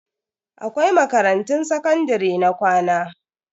Akwai makarantun sakandare na ƙwana.